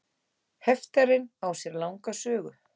Heftarinn á sér langa sögu.